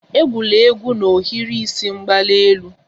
Egwula egwu n'ohiri isi mgbali elu!